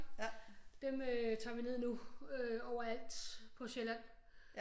Dem øh tager vi ned nu øh overalt på sjælland